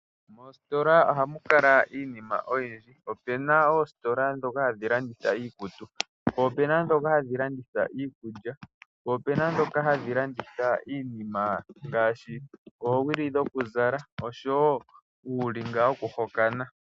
Moositola oha mu kala iinima oyindji. Ope na oositola dhoka hadhi landitha iikutu. Po ope na dhoka hadhi landitha iikulya. Po ope na dhoka hadhi landitha iinima ngaashi oowili dhoku zala oshowo uulinga woku hokana.